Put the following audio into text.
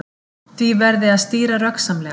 Því verði að stýra röggsamlega